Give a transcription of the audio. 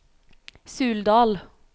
Suldal